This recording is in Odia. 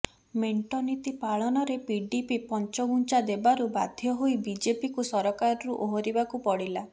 ମେଣ୍ଟ ନୀତି ପାଳନରେ ପିଡିପି ପଞ୍ଚଘୁଞ୍ଚା ଦେବାରୁ ବାଧ୍ୟ ହୋଇ ବିଜେପିକୁ ସରକାରରୁ ଓହରିବାକୁ ପଡିଲା